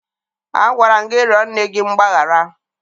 Agwara m gị rịọ nne gị mgbaghara!